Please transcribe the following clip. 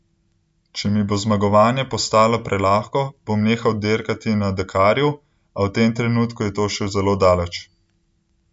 Če mi bo zmagovanje postalo prelahko, bom nehal dirkati na Dakarju, a v tem trenutku je to še zelo daleč.